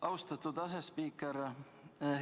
Austatud asespiiker!